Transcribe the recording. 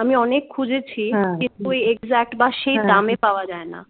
আমি অনেক খুঁজেছি কিন্তু exact বা সেই দামে পাওয়া যায় না